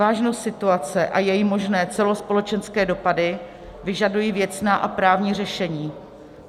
Vážnost situace a její možné celospolečenské dopady vyžadují věcná a právní řešení.